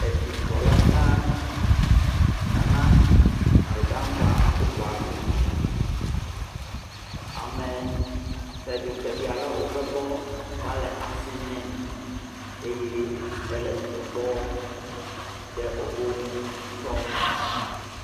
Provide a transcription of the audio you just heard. Edukplɔla gã Nana Addo Dankwa Akuffo Addo. Ame kpeɖikpeɖi aɖewo va egbɔ va le asi nee eye ele dzidzɔ kpɔm ɖe wobe ŋu ŋutɔ.